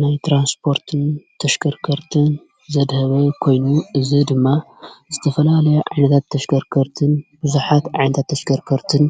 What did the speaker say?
ናይ ተራንስፖርትን ተሽከርከርትን ዘድሀበ ኾይኑ እዝ ድማ ስተፈላልያ ዓንታት ተሽከርከርትን ብዙኃት ዓንታ ተሽከርከርትን